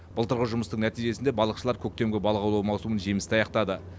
былтырғы жұмыстың нәтижесінде балықшылар көктемгі балық аулау маусымын жемісті аяқтады